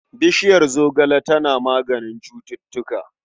Bishiyar zogale tana maganin cututtuka.